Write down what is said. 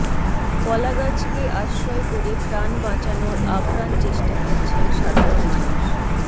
কলাগাছকে আশ্রয় করে প্রাণ বাঁচানোর আপ্রাণ চেষ্টা করছেন সাধারণ মানুষ